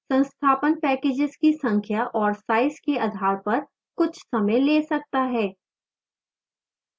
संस्थापन packages की संख्या और size के आधार पर कुछ समय ले सकता है